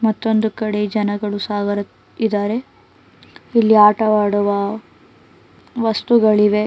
ಮತ್ತೊಂದು ಕಡೆ ಜನಗಳು ಸಾಗರ ಇದಾರೆ ಇಲ್ಲಿ ಆಟವಾಡುವ ವಸ್ತುಗಳಿವೆ.